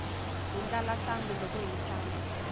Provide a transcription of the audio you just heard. hi ndlala sangu loko hi tshama